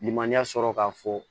Lilimaniya sɔrɔ k'a fɔ